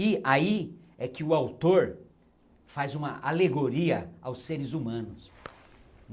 E aí é que o autor faz uma alegoria aos seres humanos.